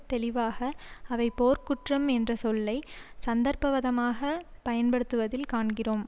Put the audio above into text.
தெளிவாக அவை போர்க்குற்றம் என்ற சொல்லை சந்தர்ப்பவாதமாக பயன்படுத்துவதில் காண்கிறோம்